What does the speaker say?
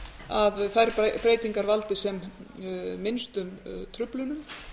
að þær breytingar valdi sem minnstum truflunum